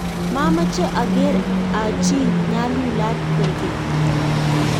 machame ageere achi nyalulat kwekeny